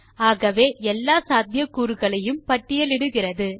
ஆகவே எல்லா சாத்தியக்கூறுகளையும் பட்டியலிடுகிறது